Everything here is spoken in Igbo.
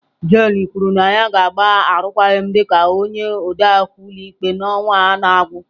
Jane kwuru na ya ga-agba arụkwaghịm dị ka onye odeakwụkwọ ụlọikpe n'ọnwa a na-agwụ.